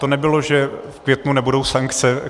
To nebylo, že v květnu nebudou sankce.